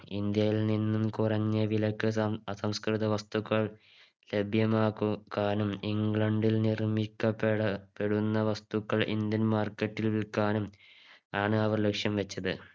ഇന്ത്യയിൽ നിന്നും കുറഞ്ഞ വിലക്ക് സം അസംസ്‌കൃത വസ്തുക്കൾ ലഭ്യമാക്കു ക്കാനും ഇംഗ്ലണ്ടിൽ നിർമിക്കപ്പെട പ്പെടുന്ന വസ്തുക്കൾ Indian Market ൽ വിൽക്കാനും ആണ് അവർ ലക്ഷ്യം വെച്ചത്